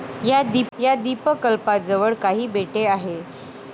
या द्विपकल्पाजवळ काही बेटे आहेत.